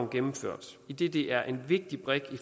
gennemført idet det er en vigtig brik i